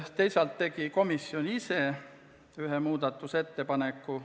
Teisalt tegi komisjon ise ühe muudatusettepaneku.